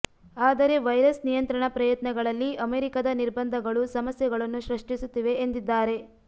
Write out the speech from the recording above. ಆದರೆ ವೈರಸ್ ನಿಯಂತ್ರಣ ಪ್ರಯತ್ನಗಳಲ್ಲಿ ಅಮೆರಿಕದ ನಿರ್ಬಂಧಗಳು ಸಮಸ್ಯೆಗಳನ್ನು ಸೃಷ್ಟಿಸುತ್ತಿವೆ ಎಂದಿದ್ದಾರೆ